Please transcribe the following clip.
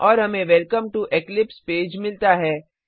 और हमें welcome to Eclipse page मिलता है